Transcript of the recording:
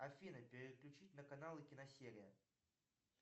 афина переключить на каналы киносерия